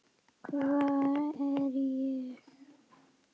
HVAR ER ÉG?